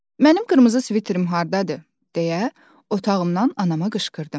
Mənim qırmızı sviterim hardadır deyə otağımdan anama qışqırdım.